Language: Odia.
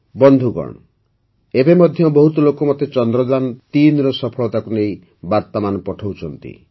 ବନ୍ଧୁଗଣ ଏବେ ମଧ୍ୟ ବହୁତ ଲୋକ ମୋତେ ଚନ୍ଦ୍ରଯାନ୩ର ସଫଳତାକୁ ନେଇ ବାର୍ତ୍ତାମାନ ପଠାଉଛନ୍ତି